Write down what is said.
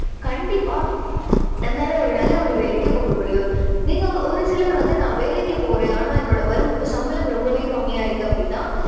கண்டிப்பா நம்பளால ஒரு நல்ல ஒரு வேலைக்கு போக முடியும். நீங்க ஒரு சிலர் வந்து நான் வேலைக்கு போறேன். ஆனா என்னோட வரு~சம்பளம் ரொம்பவே கம்மியா இருக்கு அப்படின்னா